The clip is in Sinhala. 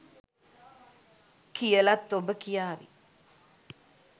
කියලත් ඔබ කියාවී